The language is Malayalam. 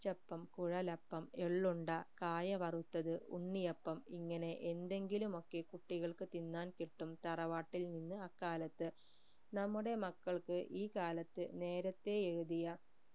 അച്ചപ്പം കുഴലപ്പം എള്ളുണ്ട കായവറുത്തത് ഉണ്ണിയപ്പം ഇങ്ങനെ എന്തെങ്കിലും ഒക്കെ കുട്ടികൾക്ക് തിന്നാൻ കിട്ടും തറവാട്ടിൽ നിന്ന് അക്കാലത്ത് നമ്മുടെ മക്കൾക്ക് ഈ കാലത്ത് നേരെത്തെ എഴുതിയ